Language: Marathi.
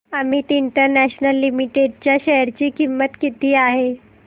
अमित इंटरनॅशनल लिमिटेड च्या शेअर ची किंमत किती आहे